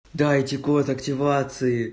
дайте код активации